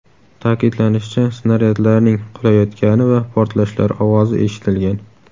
Ta’kidlanishicha, snaryadlarning qulayotgani va portlashlar ovozi eshitilgan.